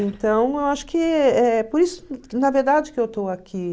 Então, eu acho que é por isso, na verdade, que eu estou aqui.